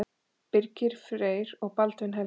Birgir Freyr og Baldvin Helgi.